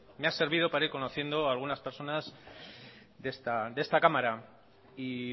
me ha servido para ir conociendo algunas personas de esta cámara y